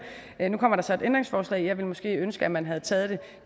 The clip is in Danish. nu kommer der så et ændringsforslag men jeg ville måske ønske at man havde taget det